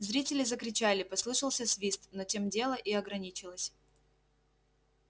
зрители закричали послышался свист но тем дело и ограничилось